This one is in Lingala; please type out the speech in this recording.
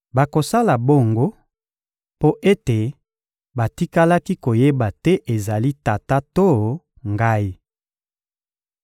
Bakosala bongo mpo ete batikalaki koyeba te ezala Tata to ngai.